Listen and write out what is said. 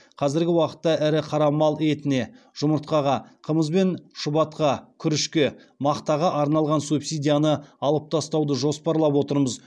қазіргі уақытта ірі қара мал етіне жұмыртқаға қымыз бен шұбатқа күрішке мақтаға арналған субсидияны алып тастауды жоспарлап отырмыз